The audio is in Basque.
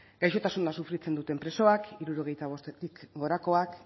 gaixotasuna sufritzen duten presoak hirurogeita bost urtetik gorakoak